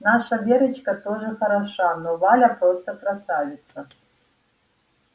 наша верочка тоже хороша но валя просто красавица